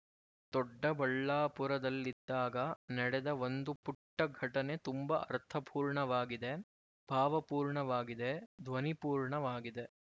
ದೊಡ್ಡಬಳ್ಳಾಪುರದಲ್ಲಿದ್ದಾಗ ನಡೆದ ಒಂದು ಪುಟ್ಟ ಘಟನೆ ತುಂಬ ಅರ್ಥಪೂರ್ಣವಾಗಿದೆ ಭಾವಪೂರ್ಣವಾಗಿದೆ ಧ್ವನಿಪೂರ್ಣವಾಗಿದೆ